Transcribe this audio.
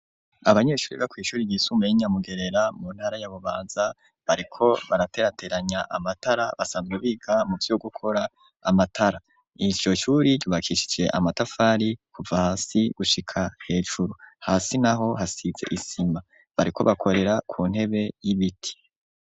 Abanyeshure biga kw'ishure ry'isumbuye ryi nyamugerera mu ntara ya bubanza bariko baraterateranya amatara basanzwe biga muvyo gukora amatara, iryo shure ryubakishije amatafari kuva hasi gushika hejuru hasi naho hasize isima bariko bakorera ku ntebe y'ibiti.